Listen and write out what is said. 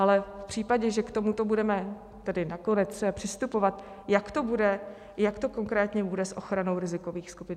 Ale v případě, že k tomuto budeme tedy nakonec přistupovat, jak to konkrétně bude s ochranou rizikových skupin?